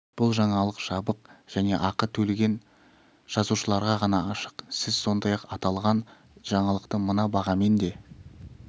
бұл жаңалық жабық және ақы төлеген жазылушыларға ғана ашық сіз сондай-ақ аталған жаңалықты мына бағамен де